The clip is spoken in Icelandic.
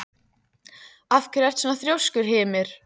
Af hverju ertu svona þrjóskur, Hymir?